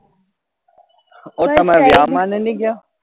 ઔર તમે ને ની ગયા